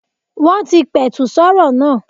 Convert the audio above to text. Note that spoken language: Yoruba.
Wọ́n ti pẹ̀tù sọ́rọ̀ náà.